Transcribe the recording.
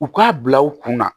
U k'a bila u kunna